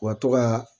U ka to ka